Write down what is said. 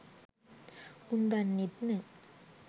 උන් දන්නෙත් නෑ